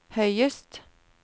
høyest